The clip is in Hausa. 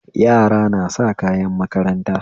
Makarantun gwamnati kayan makarant ɗaya suke amfani dashi